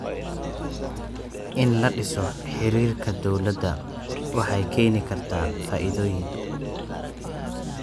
In la dhiso xiriirka dowladda waxay keeni kartaa faa'iidooyin.